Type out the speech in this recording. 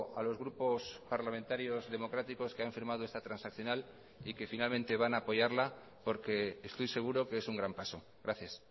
a los grupos parlamentarios democráticos que han firmado esta transaccional y que finalmente van a apoyarla porque estoy seguro que es un gran paso gracias